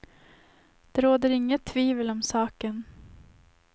Det råder inget tvivel om saken.